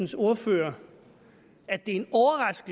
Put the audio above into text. til ordføreren